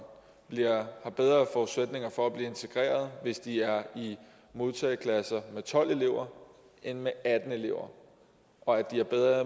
har bedre forudsætninger for at blive integreret hvis de er i modtageklasser med tolv elever end med atten elever og at de har bedre